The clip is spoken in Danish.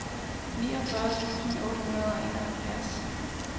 niogfyrre tusind otte hundrede og enoghalvfjerds